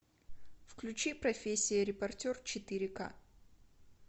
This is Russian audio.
включи профессия репортер четыре ка